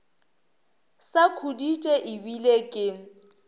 sa khuditše e bile ke